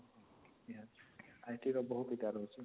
IT ର ବହୁତ ରହୁଛି